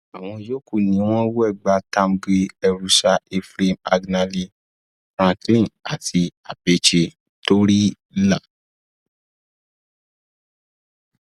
àwọn yòókù ni wegba tertamge erusaa ephraim agenale franklin àti abechi toryila